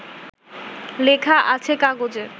লেখা আছে কাগজে